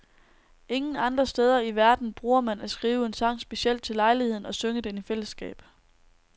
Ingen andre steder i verden bruger man at skrive en sang specielt til lejligheden og synge den i fællesskab.